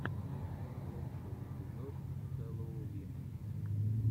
лучший эпизод хэллоувина